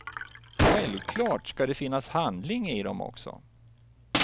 Självklart ska det finnas handling i dem också.